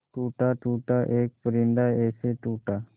टूटा टूटा एक परिंदा ऐसे टूटा